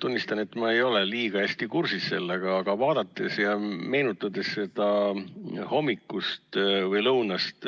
Tunnistan, et ma ei ole sellega eriti hästi kursis, aga meenutades seda hommikust või lõunast